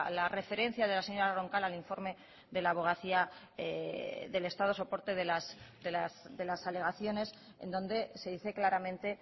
la referencia de la señora roncal al informe de la abogacía del estado soporte de las alegaciones en donde se dice claramente